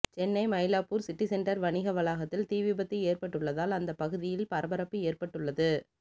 Chennai Mylapore city centre வணிக வளாகத்தில் தீவிபத்து ஏற்பட்டுள்ளததால் அந்த பகுதியில் பரபரப்பு ஏற்பட்டுள்ளது